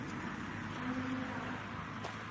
американа